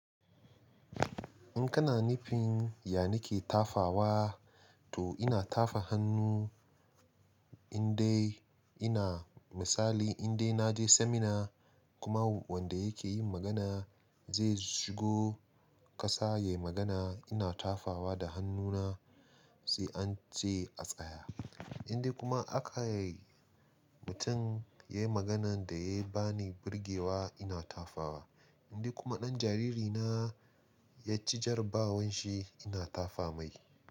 In kana nufin yanike tafawa, to ina tafa hannu in dai ina misali in dai naje seminar kuma wanda yake yin magana zai shigo ƙasa ya yi magana, ina tafawa da hannuna sai an ce a tsaya. In dai kuma akai mutum ya yi maganan da ya ba ni birgewa ina tafawa. In dai kuma ɗan jariri na ya ci jara bawan shi ina tafa mai.